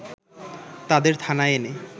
তাদের থানায় এনে